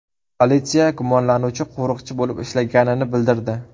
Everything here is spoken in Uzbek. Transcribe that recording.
Politsiya gumonlanuvchi qo‘riqchi bo‘lib ishlaganini bildirdi.